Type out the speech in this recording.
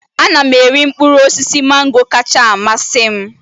Ana m eri mkpụrụ osisi mango kacha amasị m